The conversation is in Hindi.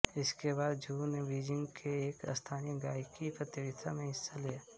इसके बाद झू ने बीजिंग के एक स्थानीय गायकी प्रतियोगिता में हिस्सा लिया